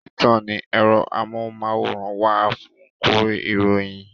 Títàn ní ẹ̀rọ amóhùnmáwòrán wà fún kúrí ìròyìn